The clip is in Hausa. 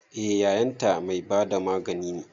Eh yayan ta mai bada magani ne